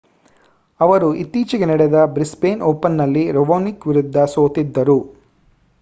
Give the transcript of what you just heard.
ಅವರು ಇತ್ತೀಚೆಗೆ ನಡೆದ ಬ್ರಿಸ್ಬೇನ್ ಓಪನ್‌ನಲ್ಲಿ ರಾವೊನಿಕ್ ವಿರುದ್ಧ ಸೋತಿದ್ದರು